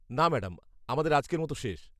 না ম্যাডাম, আমাদের আজকের মতো শেষ।